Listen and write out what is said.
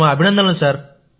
మీకు మా అభినందనలు